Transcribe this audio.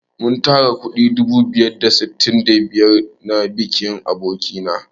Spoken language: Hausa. Mun tara kuɗi dubu biyu da sittin da biyar na bikin aboki na.